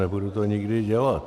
Nebudu to nikdy dělat.